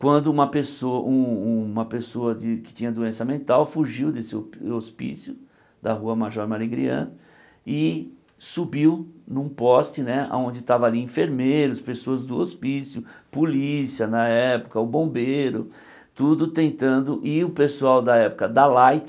Quando uma pesso um um uma pessoa de que tinha doença mental fugiu desse hopí hospício, da Rua Major Marigrian, e subiu num poste né onde estavam ali enfermeiros, pessoas do hospício, polícia na época, o bombeiro, tudo tentando, e o pessoal da época da Light,